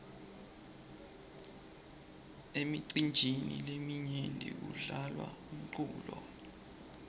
emicinjini leminyenti kudlalwa umculo